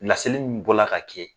Laseli min bɔra ka kɛ.